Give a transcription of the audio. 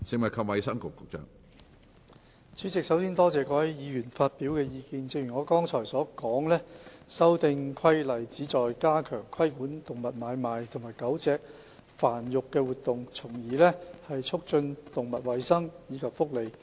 主席，首先多謝各位議員發表的意見，正如我剛才所說，修訂規例旨在加強規管動物買賣及狗隻繁育的活動，從而促進動物衞生及福利。